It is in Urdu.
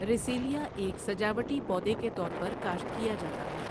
رسیلیا ایک سجاوٹی پودے کے طور پر کاشت كېا جاتا ہے۔